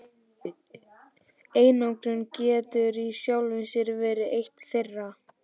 Einangrun getur í sjálfu sér verið eitt þeirra.